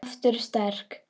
Aftur sterk.